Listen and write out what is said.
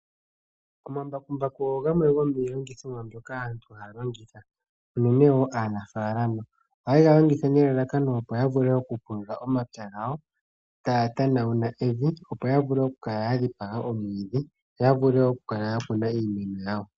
Omambakumbaku ogo gamwe gomiilongithomwa mbyoka aantu haya longitha, unene tuu aanafaalama. Ohayega longitha nelalakano opo ya vule okupulula omapya gawo, taya tanagula evi, opo yavule okukala ya dhipaga omwiidhi, yo ya vule wo okukuna iimeno yawo.